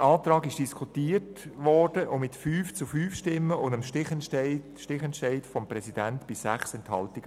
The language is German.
Der Antrag wurde diskutiert und mit 5 zu 5 Stimmen bei 6 Enthaltungen mit dem Stichentscheid des Präsidenten abgelehnt.